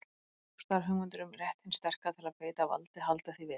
Djúpstæðar hugmyndir um rétt hins sterka til að beita valdi halda því við.